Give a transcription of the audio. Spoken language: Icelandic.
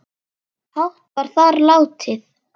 hátt var þar látið